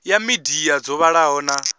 ya midia dzo vhalaho na